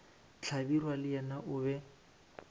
hlabirwa le yena o be